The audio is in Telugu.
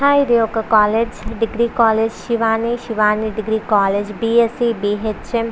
హాయ్ ఇది ఒక college degree college Shivani Shivani degree college BSc BHM --